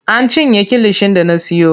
An cinye kilishin da na siyo.